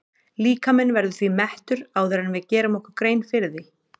Líkaminn verður því mettur áður en við gerum okkur grein fyrir því.